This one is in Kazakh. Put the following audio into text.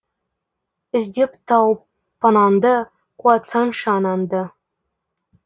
іздеп тауып панаңды қуантсаңшы анаңды